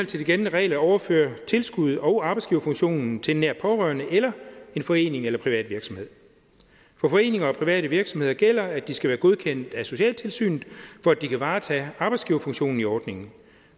til de gældende regler at overføre tilskud og arbejdsgiverfunktionen til en nær pårørende eller en forening eller en privat virksomhed for foreninger og private virksomheder gælder at de skal være godkendt af socialtilsynet for at de kan varetage arbejdsgiverfunktionen i ordningen